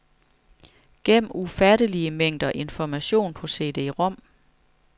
Gem ufattelige mængder information på cd-rom.